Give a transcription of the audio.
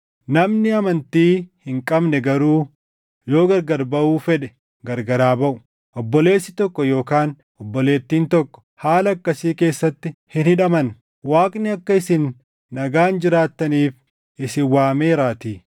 Namni amantii hin qabne garuu yoo gargar baʼuu fedhe gargar haa baʼu. Obboleessi tokko yookaan obboleettiin tokko haala akkasii keessatti hin hidhaman; Waaqni akka isin nagaan jiraattaniif isin waameeraatii.